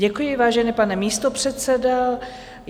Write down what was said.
Děkuji, vážený pane místopředsedo.